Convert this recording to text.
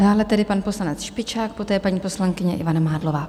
Dále tedy pan poslanec Špičák poté paní poslankyně Ivana Mádlová.